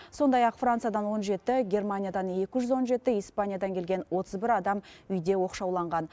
сондай ақ франциядан он жеті германиядан екі жүз он жеті испаниядан келген отыз бір адам үйде оқшауланған